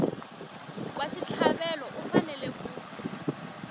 wa xitlhavelo u fanele ku